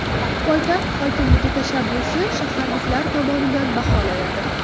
Poytaxt hokimligi tashabbusi shaharliklar tomonidan baholanadi.